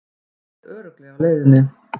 Hann er örugglega á leiðinni.